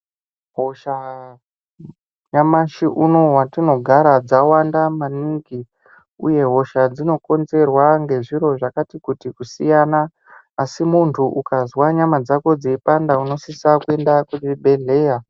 Hosha nyamashi unowu hetinogara dzawanda maningi Uye hosha dzinokonzerwa ngezviro zvakati kutikusiyana asi muntu ukazwa nyama dzako dzeipanda unosisa kuenda kuzvibhedhleya.